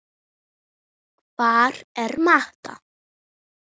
Hvar er Mata?